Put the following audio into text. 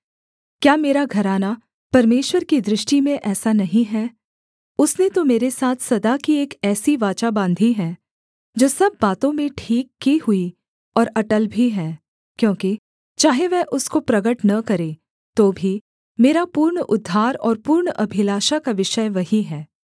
क्या मेरा घराना परमेश्वर की दृष्टि में ऐसा नहीं है उसने तो मेरे साथ सदा की एक ऐसी वाचा बाँधी है जो सब बातों में ठीक की हुई और अटल भी है क्योंकि चाहे वह उसको प्रगट न करे तो भी मेरा पूर्ण उद्धार और पूर्ण अभिलाषा का विषय वही है